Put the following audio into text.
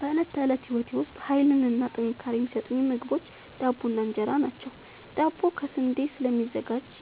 በእለት ተለት ህይወቴ ዉስጥ ሀይልንና ጥንካሬን የሚሠጡኝ ምግቦች ዳቦ እና እን ራ ናቸዉ። ዳቦ ከስንዴ ስለሚዘጋጂ